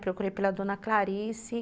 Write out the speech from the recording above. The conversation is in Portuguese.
Procurei pela dona Clarice.